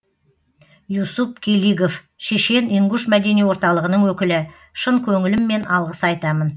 юсуп келигов шешен ингуш мәдени орталығының өкілі шын көңіліммен алғыс айтамын